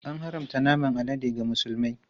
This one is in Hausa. An haramta naman alade ga Musulmai.